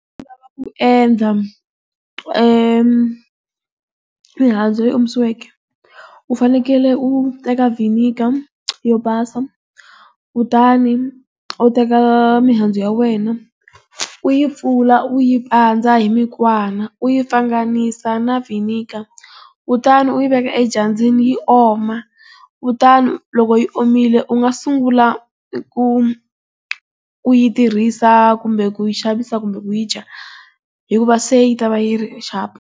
lava ku endla eeh mihandzu leyi omisiweke. U fanekele u teka vinegar yo basa kutani u teka mihandzu ya wena u yi pfula u yi pandza hi mikwana u yi pfanganisa na vinegar. Kutani u yi veka edyambyini yi oma. Kutani loko yi omile u nga sungula ku, ku yi tirhisa kumbe ku xavisa kumbe wu yi dya. Hikuva se yi ta va yi ri xapu.